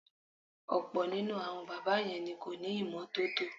Ò̩pò̩ nínú àwo̩n bábà ye̩n ni kò ní ìmó̩tótó.